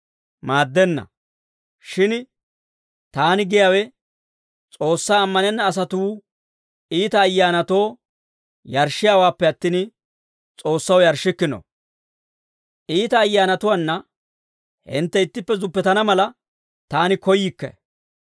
Maaddenna; shin taani giyaawe S'oossaa ammanenna asatuu iita ayyaanatoo yarshshiyaawaappe attin, S'oossaw yarshshikkino. Iita ayyaanatuwaana hintte ittippe zuppetana mala, taani koyyikke.